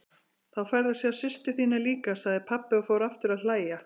Þá færðu að sjá systur þína líka, sagði pabbi og fór aftur að hlæja.